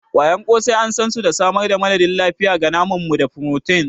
ƙwayar ƙosai an san su da samar da madadin lafiya ga naman mu da furotin.